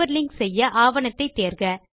hyper link செய்ய ஆவணத்தை தேர்க